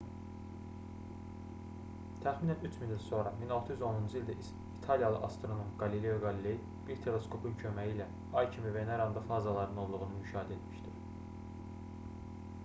təxminən 3000 il sonra 1610-cu ildə italiyalı astronom qalileo qaliley bir teleskopun köməyi ilə ay kimi veneranın da fazalarının olduğunu müşahidə etmişdir